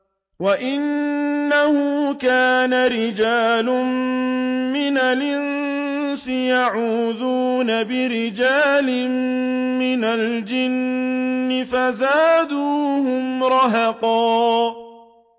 وَأَنَّهُ كَانَ رِجَالٌ مِّنَ الْإِنسِ يَعُوذُونَ بِرِجَالٍ مِّنَ الْجِنِّ فَزَادُوهُمْ رَهَقًا